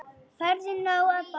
Færðu nóg að borða?